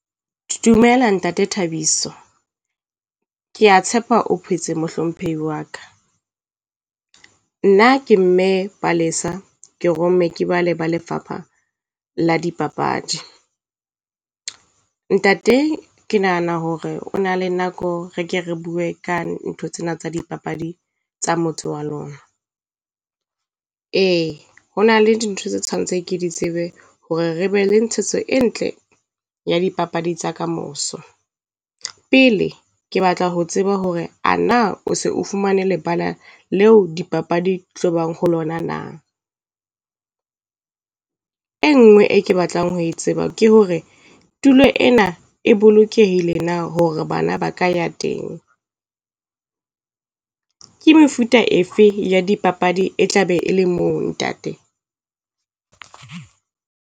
Dumela Ntate Thabiso. Kea tshepa o phetse mohlomphehi wa ka. Nna ke Mme Palesa ke romme Ke ba le ba Lefapha la dipapadi. Ntate ke nahana hore o na le nako re ke re bue ka ntho tsena tsa dipapadi tsa motse wa lona. Ee ho na le dintho tse tshwantse ke di tsebe hore re be le ntshetso e ntle ya dipapadi tsa ka moso. Pele ke batla ho tseba hore a na o se o fumane lebala leo dipapadi tlobang ho lona na? E ngwe e ke batlang ho e tseba ke hore tulo ena e bolokehile na hore bana ba ka ya teng? Ke mefuta efe ya dipapadi e tlabe e le moo Ntate?